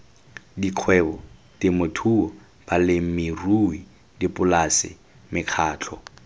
dikgwebo temothuo balemirui dipolase mekgatlho